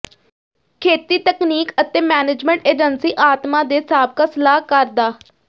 ਖੇਤੀ ਤਕਨੀਕ ਅਤੇ ਮੈਨੇਜਮੈਂਟ ਏਜੰਸੀ ਆਤਮਾ ਦੇ ਸਾਬਕਾ ਸਲਾਹਕਾਰ ਡਾ